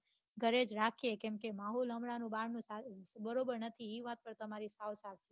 ઘરે જ રાખીએ કેમકે માહોલ હમણાં બહાર નો બરોબર નથી એ વાત તો તમારી સાચી